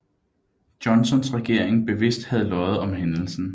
Johnsons regering bevidst havde løjet om hændelsen